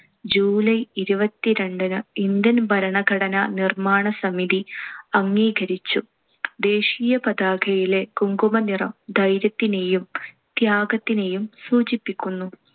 July ഇരുപത്തിരണ്ടിനു Indian ഭരണഘടനാ നിർമ്മാണ സമിതി അംഗീകരിച്ചു. ദേശീയപതാകയിലെ കുങ്കുമനിറം ധൈര്യത്തിനെയും ത്യാഗത്തിനെയും സൂചിപ്പിക്കുന്നു.